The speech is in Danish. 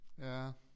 Ja